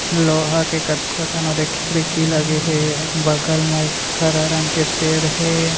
लोहा के कतको ठन ऐ खिड़की लगे हे बगल में एक हरा रंग के पेड़ हे।